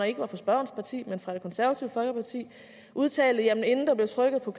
ikke var fra spørgerens parti men fra det konservative folkeparti udtalte at inden der blev trykket på